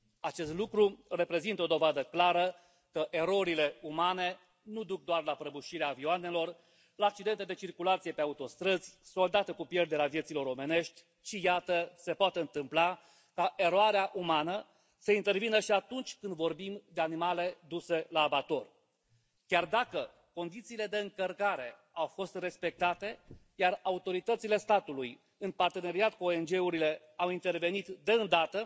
Acest lucru reprezintă o dovadă clară că erorile umane nu duc doar la prăbușirea avioanelor, la accidente de circulație pe autostrăzi, soldate cu pierderea vieților omenești, ci iată, se poate întâmpla ca eroarea umană să intervină și atunci când vorbim de animale duse la abator. Chiar dacă condițiile de încărcare au fost respectate, iar autoritățile statului, în parteneriat cu ONG urile, au intervenit de îndată,